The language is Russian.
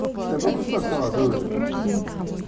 с тобой кусок сала друже